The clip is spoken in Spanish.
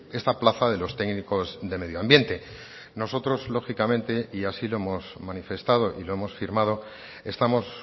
esta plaza de los técnicos de medio ambiente nosotros lógicamente y así lo hemos manifestado y lo hemos firmado estamos